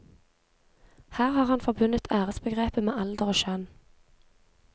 Her har han forbundet æresbegrepet med alder og kjønn.